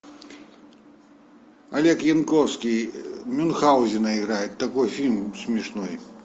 олег янковский мюнхаузена играет такой фильм смешной